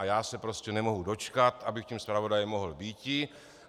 A já se prostě nemohu dočkat, abych tím zpravodajem mohl býti.